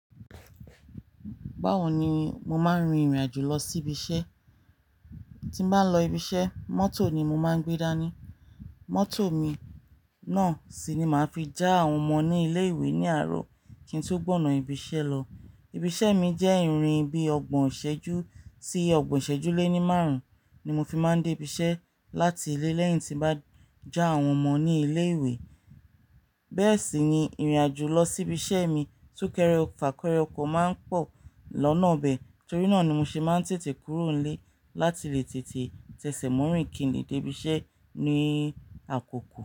Báwo ni mo máa ń rin ìrìn àjò lọ sí ibi iṣẹ́? Tí mbá lọ ibi iṣẹ́, mọ́tò ni mo máa ń gbé dání. Mọ́tò mi náà sì ni màá fi já àwọn ọmọ ní ilé-ìwé ní àárọ̀ kí n tó gbọ̀nà ibi iṣẹ́ lọ. Ibi iṣẹ́ mi jẹ́ ìrìn bí ọgbọ̀n ìṣẹ́jú tí ọgbọ̀n ìṣẹ́jú lé ní márùn-ún ni mo fi máa ń dé ibi iṣẹ́ láti ilé lẹ́yìn tí bá já àwọn ọmọ ní ilé-ìwé. Bẹ́ẹ̀ sì ni ìrìn àjò lọ sí ibi iṣẹ́ mi sún kéré fa kéré ọkọ̀ máa ń pọ̀ lọ́nà bẹ̀. Torí náà ni mo ṣe máa ń tètè kúrò nílé láti lè tètè tẹsẹ̀mọ̀rìń kìnlé dé ibi iṣẹ́ ní àkókò.